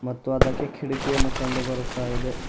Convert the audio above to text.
ಮತ್ತು ಅದಕ್ಕೆ ಕಿಡಕಿಯನ್ನು ಕಂಡು ಬರುತ್ತಾ ಇದೆ.